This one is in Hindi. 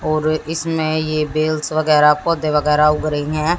और इसमें ये बेल्स वगैरा पौधे वगैरा उग रही हैं।